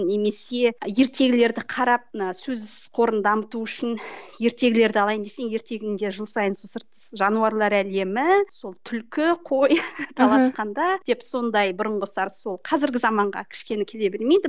немесе ертегілерді қарап мына сөз қорын дамыту үшін ертегілерді алайын десең ертегің де жыл сайын сол жануарлар әлемі сол түлкі қой таласқанда деп сондай бұрынғы сарын сол қазіргі заманға кішкене келе бермейді